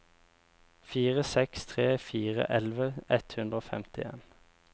fire seks tre fire elleve ett hundre og femtien